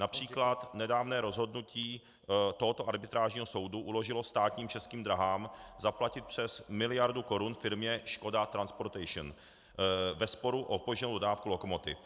Například nedávné rozhodnutí tohoto arbitrážního soudu uložilo státním Českým dráhám zaplatit přes miliardu korun firmě ŠKODA TRANSPORTATION ve sporu o opožděnou dodávku lokomotiv.